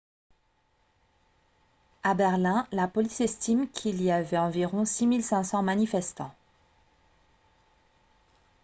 à berlin la police estime qu'il y avait environ 6 500 manifestants